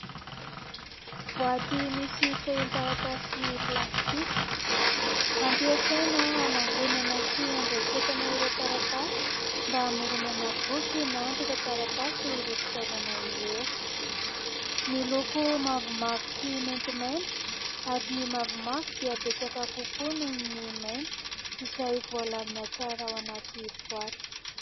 Boaty misy fehin-taratasy plastika, ampiasaina hanangonana sy handraiketana ireo taratasy mba hamoronana boky na antotan-taratasy ireo fitaovana ireo; miloko mavomavo sy maintimainty, ary ny mavomavo dia betsaka kokoa noho ny mainty izay voalamina tsara ao anaty boaty.